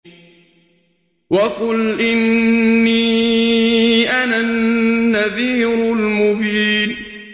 وَقُلْ إِنِّي أَنَا النَّذِيرُ الْمُبِينُ